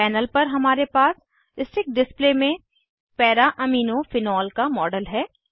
panel पर हमारे पास स्टिक डिस्प्ले में para amino फेनोल का मॉडल है